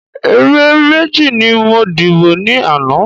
Ẹ̀rẹ̀ méjì ni mo dìbọ̀ ni ana